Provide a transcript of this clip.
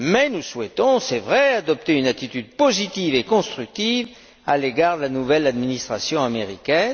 Nous souhaitons en tout cas adopter une attitude positive et constructive à l'égard de la nouvelle administration américaine.